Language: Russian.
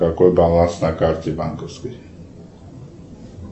какой баланс на карте банковской